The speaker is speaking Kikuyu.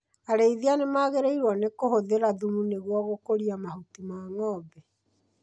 Arĩithia nĩmagĩrĩirwo nĩ kũhũthĩra thumu nĩguo gũkũria mahuti ma ng'ombe